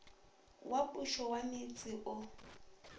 wa pušo wa metse o